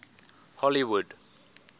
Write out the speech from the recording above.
hollywood